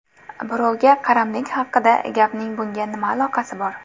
Birovga qaramlik haqida gapning bunga nima aloqasi bor?